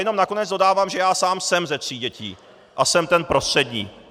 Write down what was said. Jenom nakonec dodávám, že já sám jsem ze tří dětí a jsem ten prostřední.